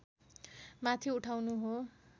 माथि उठाउनु हो